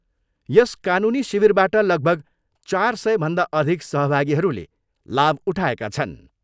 यस कानुनी शिविरबाट लगभग चार सयभन्दा अधिक सहभागीहरूले लाभ उठाएका छन्।